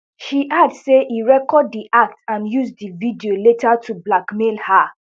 she add say e record di act and use di video later to blackmail her